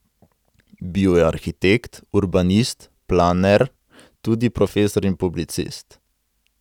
Bil je arhitekt, urbanist, planer, tudi profesor in publicist.